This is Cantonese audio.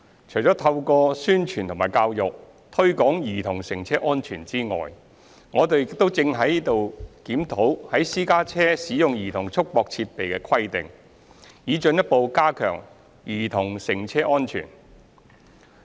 除了透過宣傳和教育推廣兒童乘車安全之外，我們亦正在檢討在私家車使用兒童束縛設備的規定，以進一步加強兒童乘車的安全。